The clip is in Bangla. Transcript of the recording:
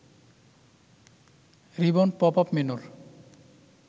ribbon pop up মেন্যুর